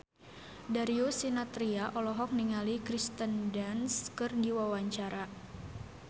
Darius Sinathrya olohok ningali Kirsten Dunst keur diwawancara